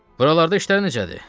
Buralarda işlər necədir?